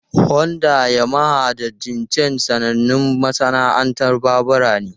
Honda, Yamaha, da Jincheng sanannun masana'antun babura ne.